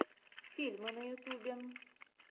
фильмы на ютьюбе